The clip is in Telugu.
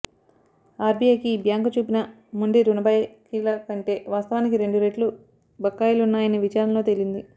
ఆర్బీఐకి ఈ బ్యాంకు చూపిన మొండి రుణ బకాయిల కంటే వాస్తవానికి రెండు రెట్లు బకాయిలున్నాయని విచారణలో తేలింది